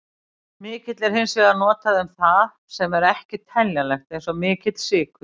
Mikill er hins vegar notað um það sem ekki er teljanlegt, eins og mikill sykur.